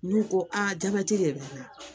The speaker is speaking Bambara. N'u ko aa jabɛti de bɛ n kan